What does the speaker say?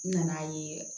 N nana ye